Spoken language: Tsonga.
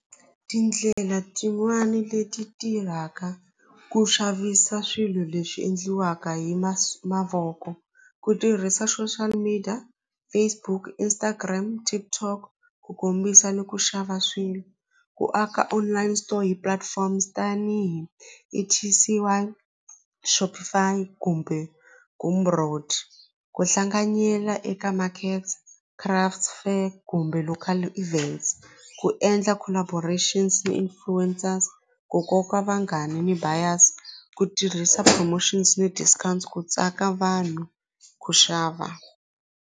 Tindlela tin'wani leti tirhaka ku xavisa swilo leswi endliwaka hi mavoko ku tirhisa social media, Facebook, Instagram, TikTok ku kombisa ni ku xava swilo ku aka online store hi platforms tanihi E_T_C_I Shopify kumbe ku hlanganyela eka markets craft fair kumbe local events ku endla collaborations ni influencers ku koka vanghani ni buyers ku tirhisa promotions ni discounts ku tsaka vanhu ku xava.